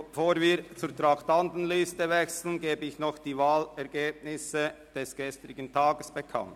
Bevor wir zur Traktandenliste wechseln, gebe ich die Wahlergebnisse des gestrigen Tages bekannt.